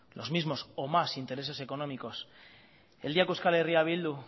los mismo o más intereses económicos el día que euskal herria bildu